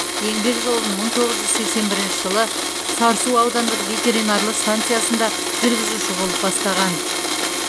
еңбек жолын мың тоғыз жүз сексен бірінші жылы сарысу аудандық ветеринарлық станциясында жүргізуші болып бастаған